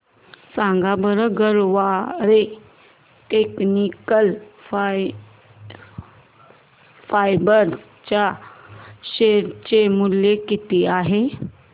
सांगा बरं Garware technical fibres च्या शेअर चे मूल्य किती आहे